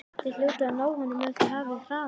Þið hljótið að ná honum ef þið hafið hraðan á.